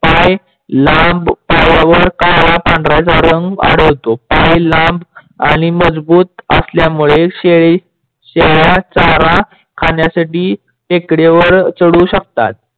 पाय लांब पायावर काळा पंढरा रंग आढळतो. पाय लांब आणि मजबूत असल्यामुडे शेळ्या चारा खाण्यासाठी टेकड्यावर चढू शकतात.